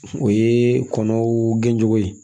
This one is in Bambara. O ye kɔnɔw gɛncogo ye